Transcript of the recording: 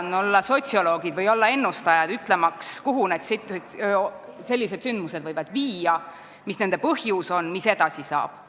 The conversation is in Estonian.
Me ei ole sotsioloogid või ennustajad, ütlemaks, kuhu sellised sündmused viia võivad, mis on nende põhjus ja mis edasi saab.